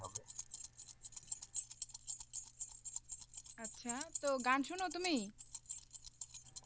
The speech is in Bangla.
আচ্ছা তো গান শোনা তুমি?